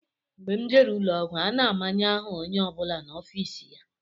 Mgbe m jere ụlọọgwụ, a na-amanye aha onye ọ bụla n'ofiisi ya